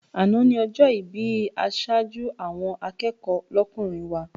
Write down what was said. Àná ni ọjọ́ ìbí aṣojú àwọn akẹ́kọ̀ọ́ lọ́kùnrin wa.